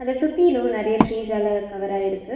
அத சுத்திலு நெறைய டீரீஸால கவராயிருக்கு .